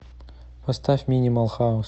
поставь минимал хаус